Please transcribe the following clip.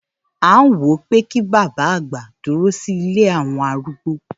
À ń wo pé kí bàbá àgbà dúró sí ilé àwọn arúgbó.